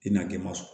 I n'a kɛ ma sɔn